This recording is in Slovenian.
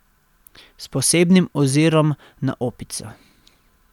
S posebnim ozirom na Opico.